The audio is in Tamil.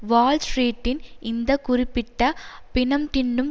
வால் ஸ்ட்ரீட்டின் இந்த குறிப்பிட்ட பிணம்தின்னும்